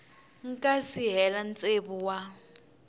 nga si hela tsevu wa